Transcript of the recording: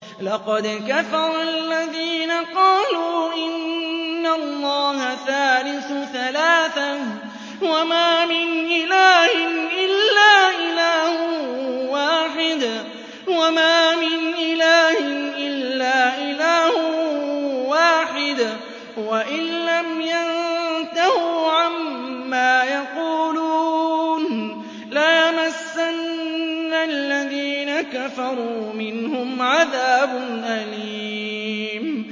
لَّقَدْ كَفَرَ الَّذِينَ قَالُوا إِنَّ اللَّهَ ثَالِثُ ثَلَاثَةٍ ۘ وَمَا مِنْ إِلَٰهٍ إِلَّا إِلَٰهٌ وَاحِدٌ ۚ وَإِن لَّمْ يَنتَهُوا عَمَّا يَقُولُونَ لَيَمَسَّنَّ الَّذِينَ كَفَرُوا مِنْهُمْ عَذَابٌ أَلِيمٌ